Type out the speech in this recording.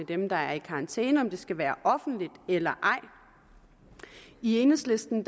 dem der i karantæne skal være offentligt eller ej i enhedslisten